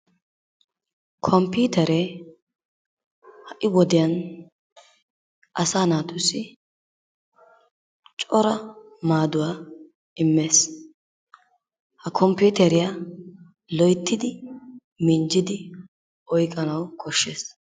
Komppiiteree ha'i wodiyan asaa naatussi cora maaduwa immes. Ha komppiiteriya loyttidi minjjidi oyqqanawu koshshes.